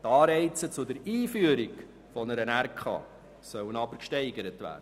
Anreize zur Einführung einer Regionalkonferenz sollen aber gesteigert werden.